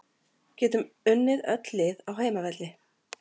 Getum unnið öll lið á heimavelli